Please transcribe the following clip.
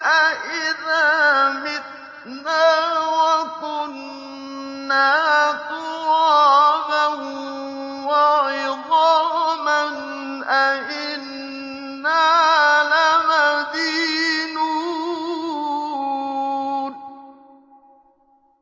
أَإِذَا مِتْنَا وَكُنَّا تُرَابًا وَعِظَامًا أَإِنَّا لَمَدِينُونَ